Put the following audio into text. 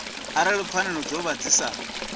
arali pfanelo dzavho dzi sa